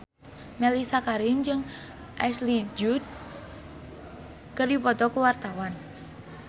Mellisa Karim jeung Ashley Judd keur dipoto ku wartawan